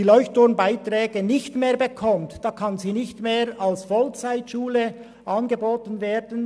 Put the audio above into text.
Wenn sie die LeuchtturmBeiträge nicht mehr erhält, kann sie keine Vollzeit-Ausbildung mehr anbieten.